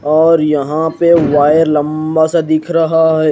और यहा पे वायर लम्बा सा दिख रहा है।